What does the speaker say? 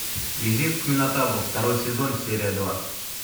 визит к минотавру второй сезон серия два